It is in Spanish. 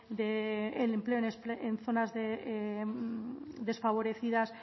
del empleo en zonas desfavorecidas